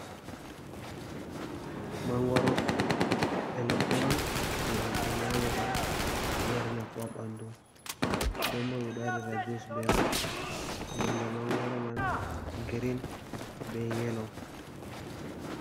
Mangoro bibe leɗɗe on je himbe nyamata. Ɗo mari nafu ha banɗu. Ɗembo beɗo waɗira jus be man. Nonɗe mangoro man girin be yelo.